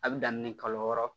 A bɛ daminɛ kalo wɔɔrɔ